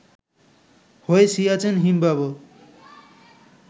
হয়ে সিয়াচেন হিমবাহ